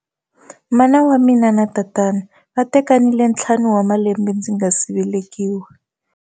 Mana wa mina na tatana va tekanile ntlhanu wa malembe ndzi nga si velekiwa